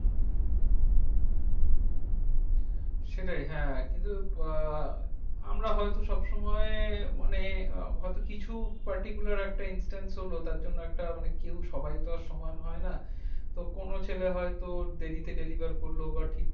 সেটাই হ্যাঁ কিন্তু আহ আমরা হয়তো সব সময় মানে হয়তো কিছু particula একটা intense হলো তার জন্য একটা মানে কেউ সবাই তো আর সমান হয় না। তো কোনো ছেলে হয়তো দেরিতে deliver করলো বা ঠিকঠাক~